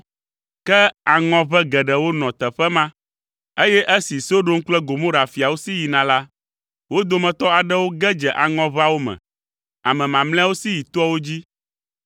Ke aŋɔʋe geɖewo nɔ teƒe ma, eye esi Sodom kple Gomora fiawo si yina la, wo dometɔ aɖewo ge dze aŋɔʋeawo me. Ame mamlɛawo si yi toawo dzi.